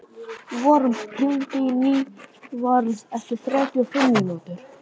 Vorm, hringdu í Nývarð eftir þrjátíu og fimm mínútur.